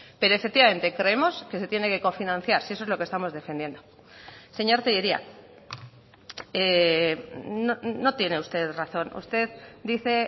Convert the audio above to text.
pero efectivamente creemos que se tiene que cofinanciar si eso es lo que estamos defendiendo señor tellería no tiene usted razón usted dice